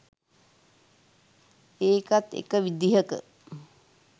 ඒකත් එක විදිහක